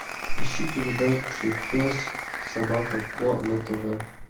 ищи передачу пес собака ко на тв